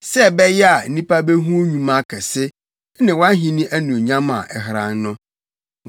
sɛ ɛbɛyɛ a nnipa behu wo nnwuma akɛse ne wʼahenni anuonyam a ɛheran no.